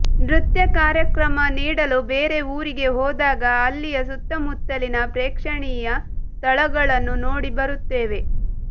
ನೃತ್ಯ ಕಾರ್ಯಕ್ರಮ ನೀಡಲು ಬೇರೆ ಊರಿಗೆ ಹೋದಾಗ ಅಲ್ಲಿಯ ಸುತ್ತಮುತ್ತಲಿನ ಪ್ರೇಕ್ಷಣೀಯ ಸ್ಥಳಗಳನ್ನು ನೋಡಿ ಬರುತ್ತೇವೆ